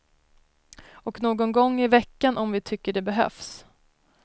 Och någon gång i veckan om vi tycker det behövs.